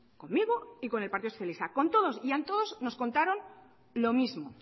conmigo y con el partido socialista con todos y a todos nos contaron lo mismo